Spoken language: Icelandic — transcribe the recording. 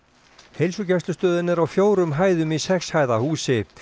heilsugæslustöðin er á fjórum hæðum í sex hæða húsi